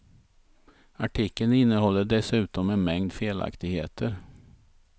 Artikeln innehåller dessutom en mängd felaktigheter.